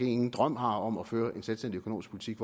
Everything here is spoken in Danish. ingen drøm har om at føre en selvstændig økonomisk politik